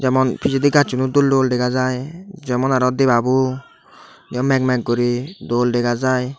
emon pijedi gassuno dol dol dega jai jemon aro debabo mek mek guri dol dega jai.